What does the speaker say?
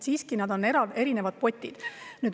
Need on siiski erinevad potid.